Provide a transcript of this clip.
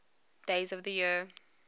days of the year